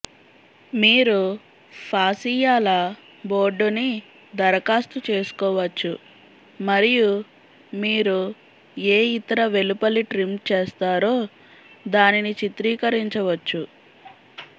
మీరు ఫాసియాల బోర్డుని దరఖాస్తు చేసుకోవచ్చు మరియు మీరు ఏ ఇతర వెలుపలి ట్రిమ్ చేస్తారో దానిని చిత్రీకరించవచ్చు